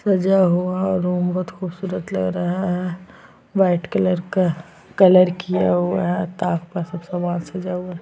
सजा हुआ रूम बहुत खुबसूरत लग रहा है वाइट कलर का कलर किया हुआ है ताक पर सब सामान सजा हुआ है।